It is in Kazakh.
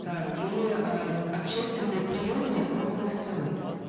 так и э общественные приемные круглые столы